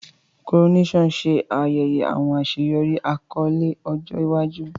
Coronation ṣe ayẹyẹ awọn aṣeyọri akọle ọjọ iwaju.